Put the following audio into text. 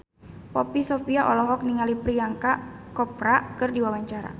Poppy Sovia olohok ningali Priyanka Chopra keur diwawancara